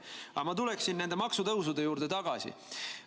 Aga ma tuleksin nende maksutõusude juurde tagasi.